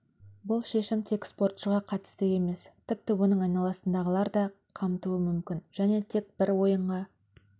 бұл шешім тек спортшығы қатысты емес тіпті оның айналасындағыларды да қамтуы мүмкін және тек бір ойынға